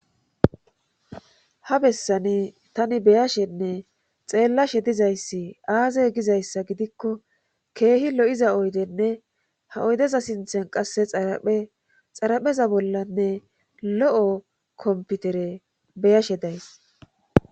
Ha bessani tani beyashenne xeellashe dizayssi aaze gizayssa gidikko keehi lo7iza oydenne ha oydeza sinthen qasse xaraphe xarapheza bollanne lo7o komputere beyashe days.